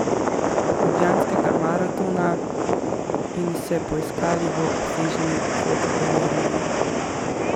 Ljubljanskega maratona in se poiskali v obsežni fotogaleriji.